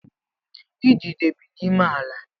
Idide bi n’ime ala